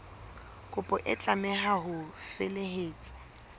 kopo e tlameha ho felehetswa